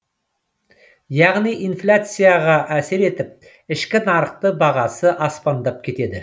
яғни инфляцияға әсер етіп ішкі нарықта бағасы аспандап кетеді